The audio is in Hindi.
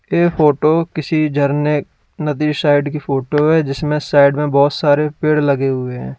ये फोटो किसी झरने नदी साइड की फोटो है जिसमें साइड में बहुत सारे पेड़ लगे हुए हैं।